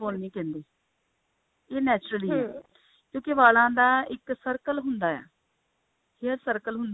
fall ਨੀ ਕਹਿੰਦੇ ਇਹ naturally ਆ ਕਿਉਂਕਿ ਵਾਲਾਂ ਦਾ ਇੱਕ circle ਹੁੰਦਾ ਆ hair circle ਹੁੰਦਾ